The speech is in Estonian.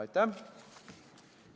Aitäh!